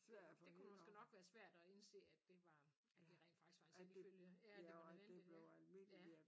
Det kunne måske nok være svært at indse at det var at det rent faktisk var en selvfølge ja at det var nødvendigt ja